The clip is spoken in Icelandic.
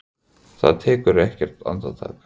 Það tekur ekki andartak.